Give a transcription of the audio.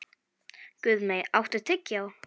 Guðmey, áttu tyggjó?